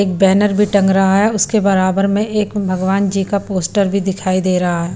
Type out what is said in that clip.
एक बैनर भी टंग रहा है उसके बराबर में एक भगवान जी का पोस्टर भी दिखाई दे रहा है।